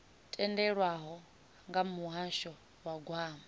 tendelwaho nga muhasho wa gwama